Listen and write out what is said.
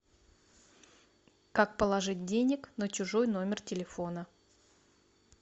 как положить денег на чужой номер телефона